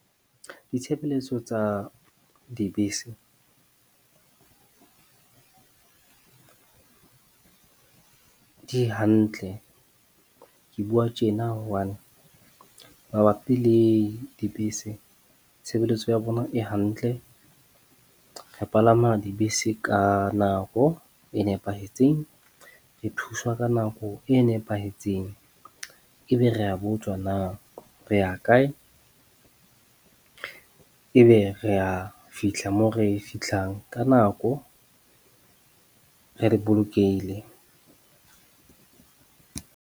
Ditshebeletso tsa dibese di hantle. Ke bua tjena one, mabapi le dibese, tshebeletso ya bona e hantle. Re palama dibese ka nako e nepahetseng. Re thuswa ka nako e nepahetseng. Ebe re a botswa na re ya kae. Ebe re a fihla mo re fihlang ka nako, re le bolokehile.